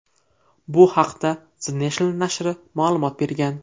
Bu haqda The National nashri ma’lumot bergan .